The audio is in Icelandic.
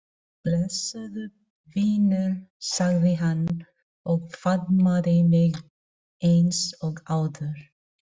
Blessaður vinur sagði hann og faðmaði mig eins og áður.